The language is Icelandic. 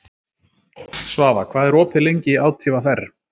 Svafa, hvað er opið lengi í ÁTVR?